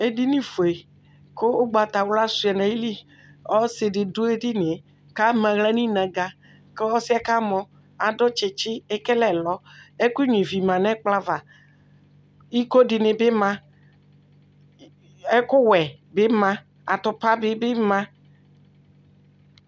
Edinifoe kʊ ʊgbatawla shʊa nayili Ɔsɩdɩ dʊ edinie Kamaɣla ninǝga Kɔsiɛ kamɔ Adʊ tsitsi Ekele ɛlɔ Ɛkʊnyivi ma nɛkplɔava Ikodinibi ma Ɛkʊwɛbi ma Atupa dɩbɩ ma